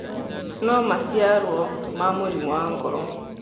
No maciarũo na mũrimũ wa ngoro.